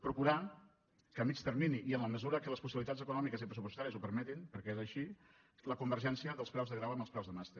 procurar que a mitjà termini i en la mesura que les possibilitats econòmiques i pressupostàries ho permetin perquè és així la convergència dels preus de graus amb els preus de màster